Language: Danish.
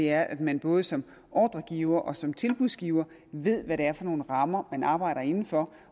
er at man både som ordregiver og som tilbudsgiver ved hvad det er for nogle rammer man arbejder inden for